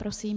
Prosím.